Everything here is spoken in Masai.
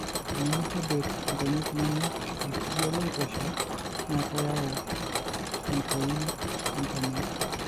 Tenimitobir inkonyek inono ilkiyio loitosha na keyau entoi onkonyek.